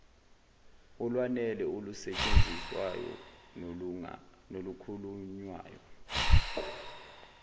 olwanele olusetshenziswayo nolukhulunywayo